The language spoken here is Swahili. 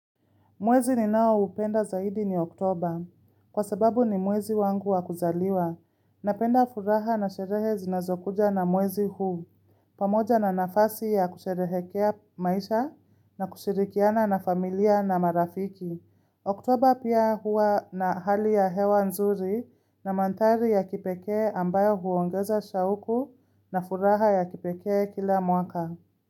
Mwezi ninao upenda zaidi ni oktoba. Kwa sababu ni mwezi wangu wa kuzaliwa. Napenda furaha na sherehe zinazokuja na mwezi huu. Pamoja na nafasi ya kusherehekea maisha na kushirikiana na familia na marafiki. Oktober pia hua na hali ya hewa nzuri na mandhari ya kipekee ambayo huongeza shauku na furaha ya kipeke kila mwaka.